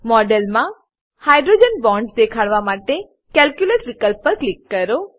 model મા hydrogen bonds દેખાડવા માટે કેલ્ક્યુલેટ વિકલ્પ પર ક્લિક કરો